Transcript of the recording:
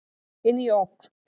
Inn í ofn.